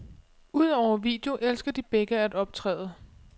Udover video elsker de begge at optræde.